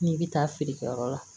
N'i bɛ taa feerekɛyɔrɔ la